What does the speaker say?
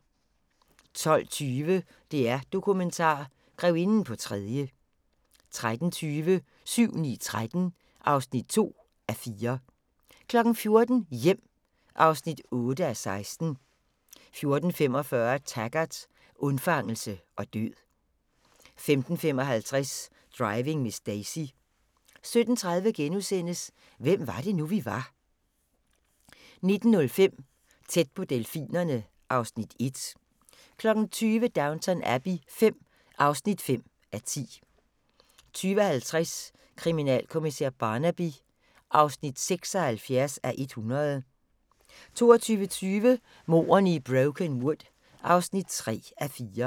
12:20: DR-Dokumentar: Grevinden på tredje 13:20: 7-9-13 (2:4) 14:00: Hjem (8:16) 14:45: Taggart: Undfangelse og død 15:55: Driving Miss Daisy 17:30: Hvem var det nu, vi var * 19:05: Tæt på delfinerne (Afs. 1) 20:00: Downton Abbey V (5:10) 20:50: Kriminalkommissær Barnaby (76:100) 22:20: Mordene i Brokenwood (3:4)